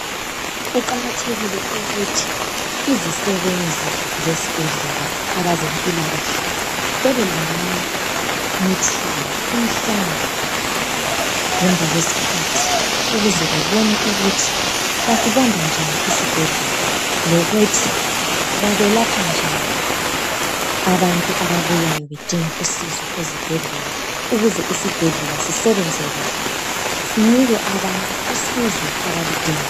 kuqakathekile ukuthi izisebenzi zesibhedlela abezempikahle babe lama meeting imihlangano ngemva kwesikhathi ukuze beone ukuthi basibamba njani isibhedlela lokuthi babelapha njani abantu ababuyayo bedinga usizo ezibhedlela ukuze isibhedlela sisebenze kuhle sinike abantu usizo abaludingayo